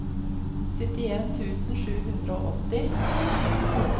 syttien tusen sju hundre og åtti